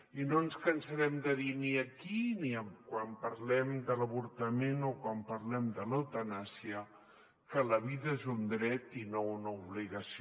i no ens cansarem de dir aquí ni quan parlem de l’avortament o quan parlem de l’eutanàsia que la vida és un dret i no una obligació